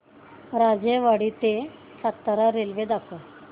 राजेवाडी ते सातारा रेल्वे दाखव